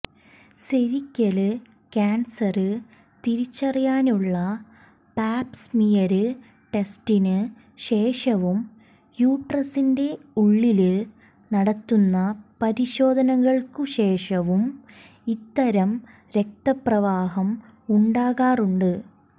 cervical cancer തിരിച്ചറിയാനുള്ള pap smear ടെസ്റ്റിന് ശേഷവും യൂട്രസിന്റെ ഉള്ളില് നടത്തുന്ന പരിശോധനകള്ക്കു ശേഷവും ഇത്തരം രക്തപ്രവാഹം ഉണ്ടാകാറുണ്ട്